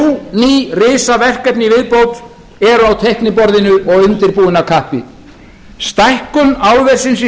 ný risaverkefni í viðbót eru á teikniborðinu og undirbúin af kappi stækkun álversins í